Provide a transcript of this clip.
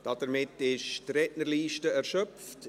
Damit ist die Rednerliste erschöpft.